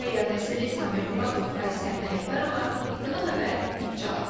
Təyyar Nəsirli, Samir Qubadov, Aysən Ələkbərova, İTV Xəbər, Neftçala.